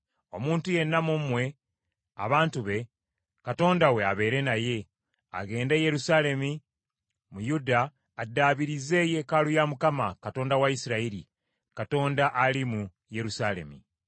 Omuntu yenna mu mmwe abantu be, Katonda we abeere naye, agende e Yerusaalemi mu Yuda addaabirize yeekaalu ya Mukama , Katonda wa Isirayiri, Katonda ali mu Yerusaalemi.